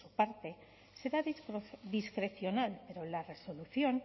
por su parte será discrecional pero la resolución